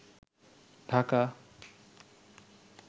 Dhaka